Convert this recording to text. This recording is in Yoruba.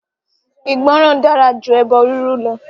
Ìgbọ́ràn dára jú ẹbọ rírú lọ.